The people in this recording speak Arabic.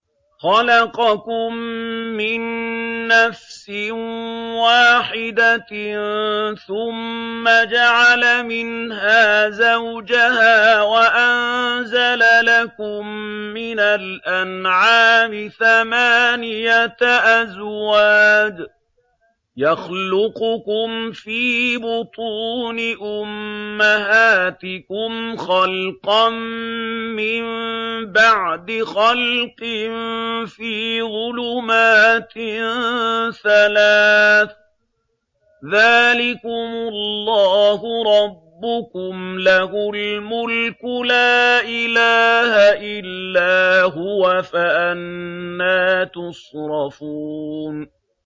خَلَقَكُم مِّن نَّفْسٍ وَاحِدَةٍ ثُمَّ جَعَلَ مِنْهَا زَوْجَهَا وَأَنزَلَ لَكُم مِّنَ الْأَنْعَامِ ثَمَانِيَةَ أَزْوَاجٍ ۚ يَخْلُقُكُمْ فِي بُطُونِ أُمَّهَاتِكُمْ خَلْقًا مِّن بَعْدِ خَلْقٍ فِي ظُلُمَاتٍ ثَلَاثٍ ۚ ذَٰلِكُمُ اللَّهُ رَبُّكُمْ لَهُ الْمُلْكُ ۖ لَا إِلَٰهَ إِلَّا هُوَ ۖ فَأَنَّىٰ تُصْرَفُونَ